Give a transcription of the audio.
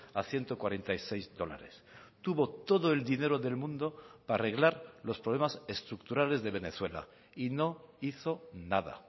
a ciento cuarenta y seis dólares tuvo todo el dinero del mundo para arreglar los problemas estructurales de venezuela y no hizo nada